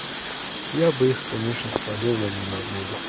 я бы их конечно спалил но меня убили